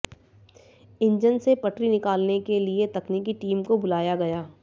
engine से पटरी निकालने के लिए तकनीकी टीम को बुलाया गया